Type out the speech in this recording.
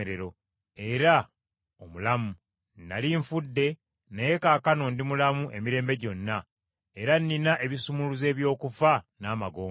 era omulamu. Nnali nfudde naye kaakano ndi mulamu emirembe gyonna, era nnina ebisumuluzo eby’okufa n’amagombe.